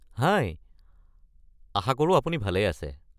হাই, আশাকৰো আপুনি ভালেই আছে।